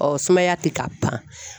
sumaya tɛ ka ban